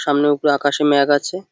সামনে উপরে আকাশে মেঘ আছে।